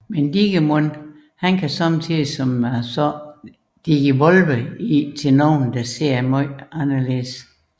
Men Digimon kan sommetider som sagt Digivolve i til nogle der ser meget anderledes